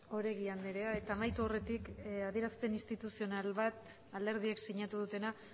oregi andrea eta amaitu aurretik adierazpen instituzional bat alderdiek sinatu dutena